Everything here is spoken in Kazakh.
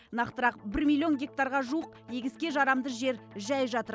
нақтырақ бір миллион гектарға жуық егіске жарамды жер жәй жатыр